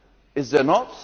is there not?'